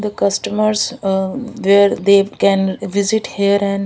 the customers are where they can visit here and --